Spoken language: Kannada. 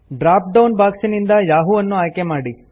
ಡ್ರಾಪ್ ಡೌನ್ ಬಾಕ್ಸ್ ನಿಂದ ಯಹೂ ಅನ್ನು ಆಯ್ಕೆಮಾಡಿ